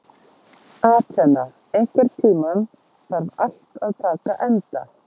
Atena, einhvern tímann þarf allt að taka enda.